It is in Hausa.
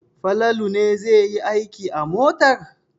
Falalu ne zai yi aiki a motar.